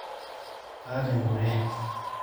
kaata enkure